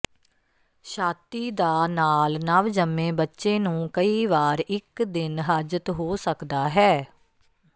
ਛਾਤੀ ਦਾ ਨਾਲ ਨਵਜੰਮੇ ਬੱਚੇ ਨੂੰ ਕਈ ਵਾਰ ਇੱਕ ਦਿਨ ਹਾਜਤ ਹੋ ਸਕਦਾ ਹੈ